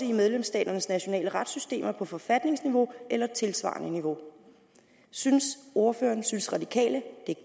i medlemsstaternes retssystemer på forfatningsniveau eller tilsvarende niveau synes ordføreren synes radikale det